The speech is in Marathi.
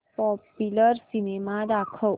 पॉप्युलर सिनेमा दाखव